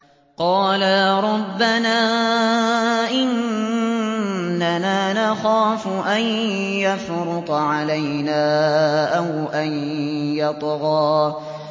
قَالَا رَبَّنَا إِنَّنَا نَخَافُ أَن يَفْرُطَ عَلَيْنَا أَوْ أَن يَطْغَىٰ